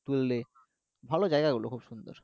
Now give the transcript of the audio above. তুললে ভালো জায়গা গুলো খুব সুন্দর